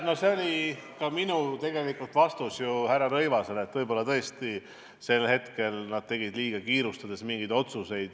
No see oli ju tegelikult ka minu vastus härra Rõivasele, et võib-olla tõesti tegid nad mingeid otsuseid liialt kiirustades.